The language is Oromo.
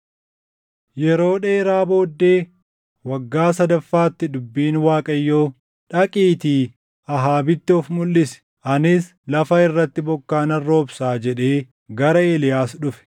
Yeroo dheeraa booddee, waggaa sadaffaatti dubbiin Waaqayyoo, “Dhaqiitii Ahaabitti of mulʼisi; anis lafa irratti bokkaa nan roobsaa” jedhee gara Eeliyaas dhufe.